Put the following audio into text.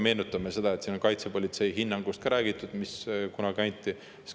Meenutame kaitsepolitsei hinnangut – sellest on siin ka räägitud –, mis kunagi anti.